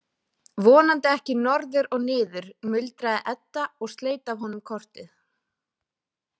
Vonandi ekki norður og niður, muldraði Edda og sleit af honum kortið.